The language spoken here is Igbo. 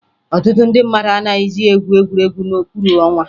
Ọtụtụ ndị mmadụ anaghịzị egwu egwuregwu n'okpuru ọnwa